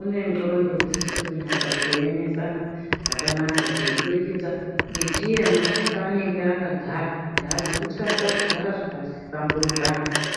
une ndxondo dzisire kunyatsa kuemesana zvakanaka zveiburikidza ngechiemo chepaanenge akagara kuti haazi kutasa kugara zvakahlamburikana.